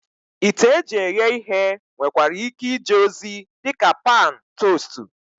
Ite eji eghe ihe nwekwara ike ije ozi dị ka pan tostu